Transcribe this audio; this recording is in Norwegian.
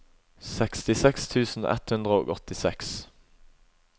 sekstiseks tusen ett hundre og åttiseks